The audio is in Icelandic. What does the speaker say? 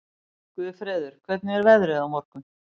Guðfreður, hvernig er veðrið á morgun?